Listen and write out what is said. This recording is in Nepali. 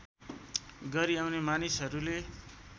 गरी आउने मानिसहरूले